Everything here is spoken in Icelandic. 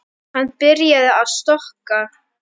Hann byrjaði að stokka.